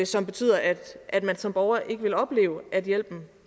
som betyder at at man som borger ikke vil opleve at hjælpen